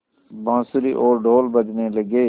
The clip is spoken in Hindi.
बाँसुरी और ढ़ोल बजने लगे